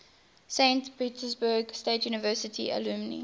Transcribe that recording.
saint petersburg state university alumni